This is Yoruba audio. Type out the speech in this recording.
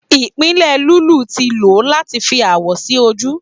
ipile lulú ti lo lati fi awọ si oju